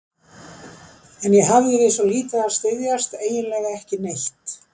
En ég hafði við svo lítið að styðjast, eiginlega ekki neitt.